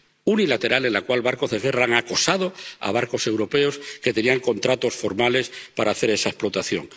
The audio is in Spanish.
unilateral, en la cual barcos de guerra han acosado a barcos europeos que tenían contratos formales para hacer esa explotación.